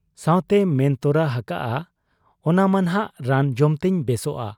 ᱥᱟᱶᱛᱮᱭ ᱢᱮᱱ ᱛᱚᱨᱟ ᱦᱟᱠᱟᱜ ᱟ ᱚᱱᱟ ᱢᱟᱱᱷᱟᱜ ᱨᱟᱱ ᱡᱚᱢᱛᱤᱧ ᱵᱮᱥᱚᱜ ᱟ ᱾